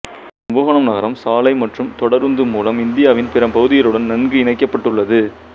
கும்பகோணம் நகரம் சாலை மற்றும் தொடருந்து மூலம் இந்தியாவின் பிற பகுதிகளுடன் நன்கு இணைக்கப்பட்டுள்ளது